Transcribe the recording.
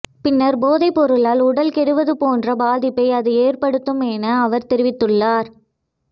பின்னர் போதைப் பொருளால் உடல் கெடுவது போன்ற பாதிப்பை அது ஏற்படுத்தும் என அவர் தெரிவித்துள்ளார்